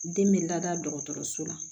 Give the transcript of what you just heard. Den bɛ lada dɔgɔtɔrɔso la